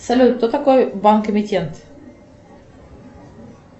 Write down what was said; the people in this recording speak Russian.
салют кто такой банк эмитент